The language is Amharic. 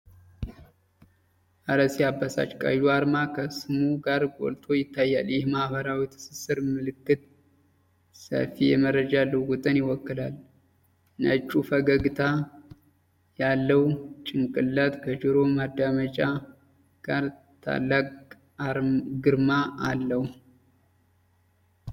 እረ ሲያበሳጭ! ቀዩ አርማ ከስሙ ጋር ጎልቶ ይታያል። ይህ የማህበራዊ ትስስር ምልክት ሰፊ የመረጃ ልውውጥን ይወክላል። ነጩ ፈገግታ ያለው ጭንቅላት ከጆሮ ማዳመጫ ጋር ታላቅ ግርማ አለው።